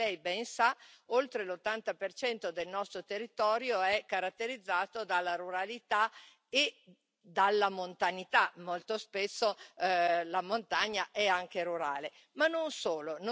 Come Lei ben sa, oltre l'80 del nostro territorio è caratterizzato dalla ruralità e dalla montanità, molto spesso la montagna è anche rurale, ma non solo.